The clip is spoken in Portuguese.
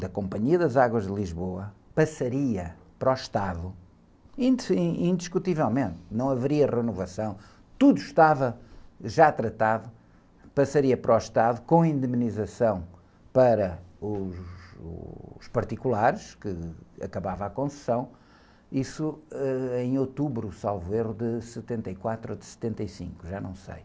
da Companhia das Águas de Lisboa, passaria para o Estado, in, indiscutivelmente, não haveria renovação, tudo estava já tratado, passaria para o Estado, com indenização para, uh, uh, os particulares, que acabava a concessão, isso, ãh, em outubro, salvo erro, de setenta e quatro ou de setenta e cinco, já não sei.